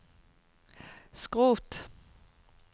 skrot